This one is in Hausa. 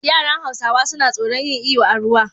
Yaran hausawa suna tsoran yin iyo a ruwa